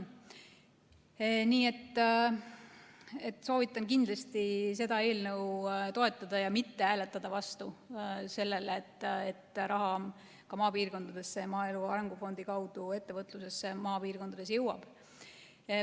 Nii et soovitan kindlasti seda eelnõu toetada ja mitte hääletada vastu sellele, et raha ka maapiirkondadesse, maaelu arengu fondi kaudu maapiirkondade ettevõtlusse jõuaks.